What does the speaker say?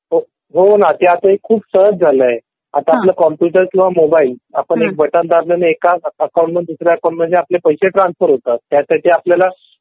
हो बघ ना ते आता खूप सहज झालं आहे. आता आपला कम्प्युटर किंवा मोबाईल आपण एक बटन दाबलं आणि एका अकाउंट मधून दुसऱ्या अकाउंट मध्ये आपले पैसे ट्रान्सफर होतात. त्यासाठी आपल्याला